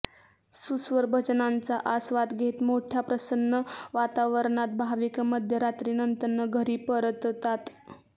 सुस्वर भजनांचा आस्वाद घेत मोठय़ा प्रसन्न वातावरणात भाविक मध्यरात्रीनंतर घरी परततात